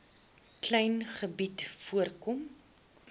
klein gebied voorkom